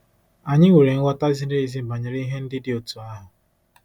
Anyị nwere nghọta ziri ezi banyere ihe ndị dị otú ahụ.